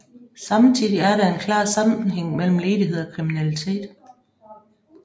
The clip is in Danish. Samtidig er der en klar sammenhæng mellem ledighed og kriminalitet